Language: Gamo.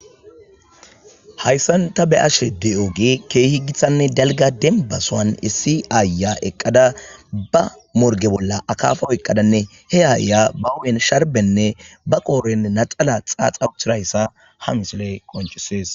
Hayssanta be ashe de'ooge keehi giththanne dalga denbasoan issi aaya eqqada ba morge bolla akaafa oyqqadanne he aaya bawen sharbenne ba qooren naxala xaaxauchirayssa ha misiley qonchisees.